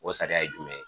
O sariya ye jumɛn ye